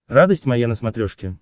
радость моя на смотрешке